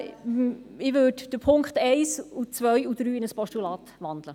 Ich würde die Punkte 1, 2 und 3 in ein Postulat wandeln.